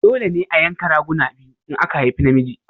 Dole ne a yanka raguna biyu in aka haifi na miji